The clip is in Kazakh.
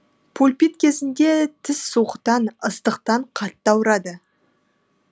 пульпит кезінде тіс суықтан ыстықтан қатты ауырады